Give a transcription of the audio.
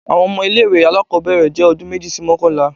Awọn ọmọ ile-iwe alakọbẹrẹ jẹ ọdun meji si mọkanla.